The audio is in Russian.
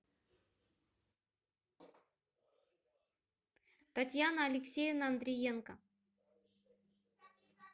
татьяна алексеевна андриенко